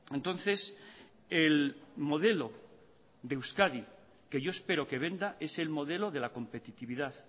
entonces el modelo de euskadi que yo espero que venda es el modelo de la competitividad